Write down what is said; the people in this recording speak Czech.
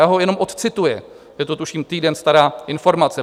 Já ho jenom odcituji, je to tuším týden stará informace: